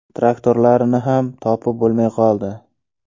Traktorlarini ham topib bo‘lmay qoldi.